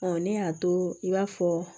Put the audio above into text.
ne y'a to i b'a fɔ